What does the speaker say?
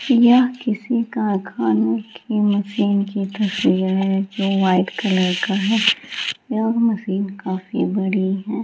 यह किसी का खाने की मशीन की तस्वीर है जो व्हाइट कलर का है | यह मशीन काफी बड़ी है।